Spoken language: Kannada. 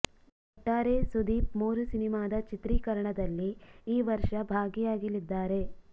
ಒಟ್ಟಾರೆ ಸುದೀಪ್ ಮೂರು ಸಿನಿಮಾದ ಚಿತ್ರೀಕರಣದಲ್ಲಿ ಈ ವರ್ಷ ಭಾಗಿ ಆಗಲಿದ್ದಾರೆ